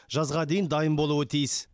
жазға дейін дайын болуы тиіс